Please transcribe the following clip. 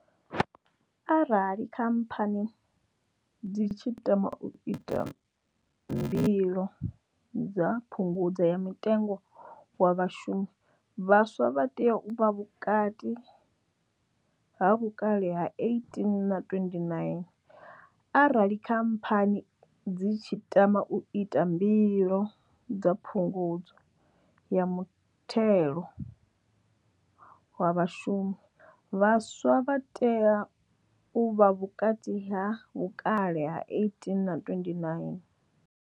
Arali khamphani dzi tshi tama u ita mbilo dza phungudzo ya mutengo wa vhashumi, vhaswa vha tea u vha vhukati ha vhukale ha 18 na 29. Arali khamphani dzi tshi tama u ita mbilo dza phungudzo ya mutheo wa vhashumi, vhaswa vha tea u vha vhukati ha vhukale ha 18 na 29.